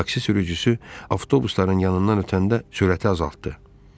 Taksi sürücüsü avtobusların yanından ötəndə sürəti azaltdı.